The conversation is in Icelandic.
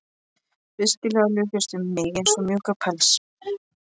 Feginleikinn luktist um mig eins og mjúkur pels.